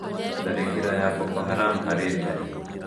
Tharĩkĩra ya boko haram harĩ ndari